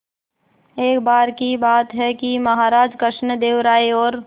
एक बार की बात है कि महाराज कृष्णदेव राय और